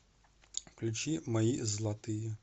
включи мои златые